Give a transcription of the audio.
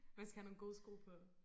Man skal have nogle gode sko på